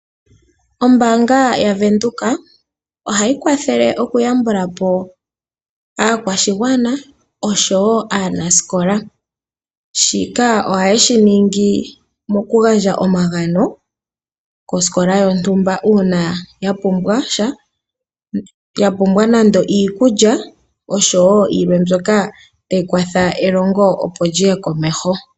Ombaanga yavenduka ohayi kwathele oku yambulapo aakwashigwana oshowo aanasikola. shika ohaye shiningi moku gandja omagano kosikola yontumba uuna ya pumbwasha, ya pumbwa nando iikulya oshowo yilwe mbyoka tayi kwatha elongo opo lyiye komeho.